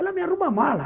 Ela me arruma a mala.